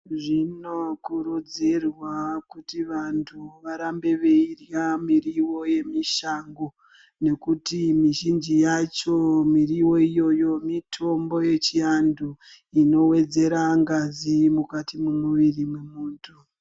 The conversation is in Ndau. Zvinokurudzirwa kuti vantu varambe veirya miriwo yemishango ngekuti mizhinji yacho miriwo iyoyo mitombo yechiantu inowedzera ngazi mukati mwemiri mwemuntu.